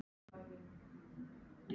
Ertu frá þér!